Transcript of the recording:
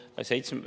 Lauri Laats, palun!